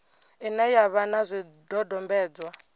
ine ya vha na zwidodombedzwa